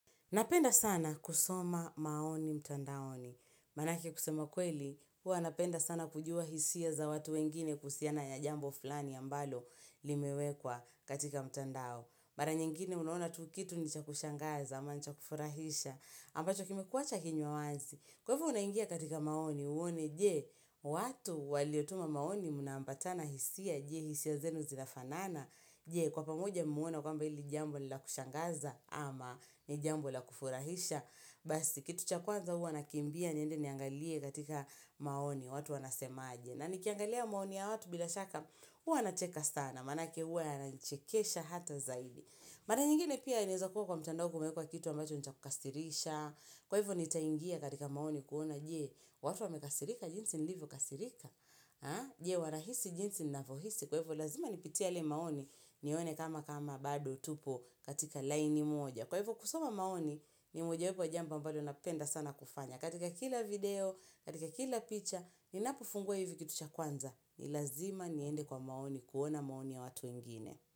Napenda sana kusoma maoni mtandaoni. Manaki kusema kweli, hua napenda sana kujua hisia za watu wengine kusiana ya jambo fulani ambalo limewekwa katika mtandao. Mara nyengine unohona tu kitu nicha kushangaza ama nicha kufurahisha. Ampacho kime kuwacha kinyo wasi. Kwevu unahingia katika maoni, uone, jee, watu waliotuma maoni munambatana hisia, jee, hisia zenu zinafanana. Jee kwa pamoja muona kwamba ili jambo la kushangaza ama ni jambo la kufurahisha Basi kitu cha kwanza hua nakimbia nyende niangalie katika maoni watu wanasema aje na nikiangalia maoni ya watu bila shaka hua nacheka sana manake hua yanachekesha hata zaidi mada nyingine pia inezo kuwa kwa mchandau kumekua kitu ambacho nitakukastirisha Kwa hivu nitaingia katika maoni kuona jee watu wamekasirika jinsi nilivu kasirika Jewa wahisi jinsi na vohisi Kwa hivu lazima nipitia le maoni nione kama kama bado tupo katika line moja Kwa hivu kusoma maoni Nimujawepo jambo mbalo napenda sana kufanya katika kila video, katika kila picture Ninapufungua hivu kitu cha kwanza Nilazima niende kwa maoni kuona maoni ya watu ingine.